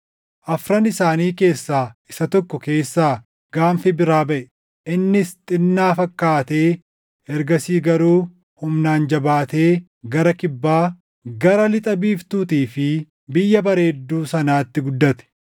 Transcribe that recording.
Afran isaanii keessaa isa tokko keessaa gaanfi biraa baʼe; innis xinnaa fakkaatee ergasii garuu humnaan jabaatee gara kibbaa, gara lixa biiftuutii fi Biyya Bareedduu sanaatti guddate.